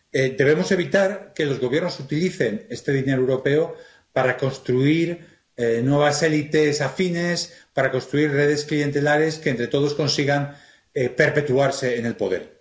Debemos evitar que los Gobiernos utilicen este dinero europeo para construir nuevas élites afines, para construir redes clientelares que entre todos consigan perpetuarse en el poder.